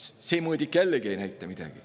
See mõõdik ei näita jällegi mitte midagi.